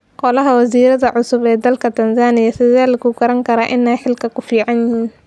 Golaha wasiradha cusub ee dalka Tanzania sidhe lakukarane inay xilka kuficanyihin.